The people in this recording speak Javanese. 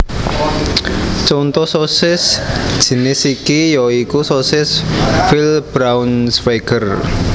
Contho sosis jinis iki ya iku sosis Veal Braunschweiger